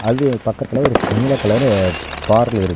அது பக்கத்துல ஒரு ப் நீல கலரு பாரல்லுருக்கு .